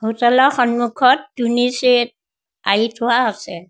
Hotel ৰ সন্মুখত তুনি চেট আঁৰি থোৱা আছে।